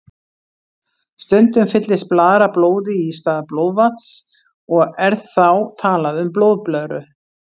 Stundum fyllist blaðra blóði í stað blóðvatns og er þá talað um blóðblöðru.